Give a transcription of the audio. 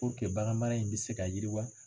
Puruke baganmara in bɛ se ka yiriwa.